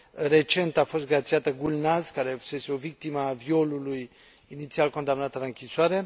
recent a fost grațiată Gulnaz, care fusese o victimă a violului, inițial condamnată la închisoare